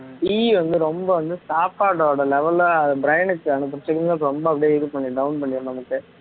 tea வந்து ரொம்ப வந்து சாப்பாட்டோட level ல brain க்கு அனுப்புற signals ரொம்ப அப்படியே இது பண்ணி down பண்ணிடும் நமக்கு